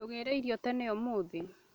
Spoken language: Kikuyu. Ndugire irio tene ũmũthĩ